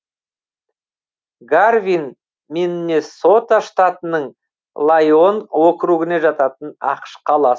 гарвин миннесота штатының лайон округіне жататын ақш қаласы